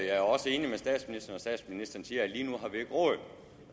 er også enig med statsministeren når statsministeren siger